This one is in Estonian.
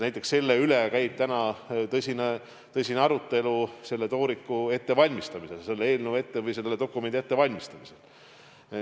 Näiteks selle üle käib praegu tõsine arutelu tooriku ettevalmistamisel, selle eelnõu või dokumendi ettevalmistamisel.